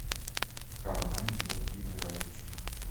кармен владимирович